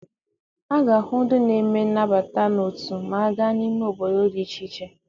A ga-ahụ ndị na-eme nnabata n'otu ma a gaa n'ime obodo dị iche iche.